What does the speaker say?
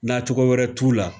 Na cogo wɛrɛ t'u la